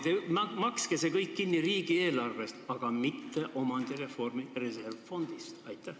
Makske see kõik kinni riigieelarvest, mitte omandireformi reservfondist!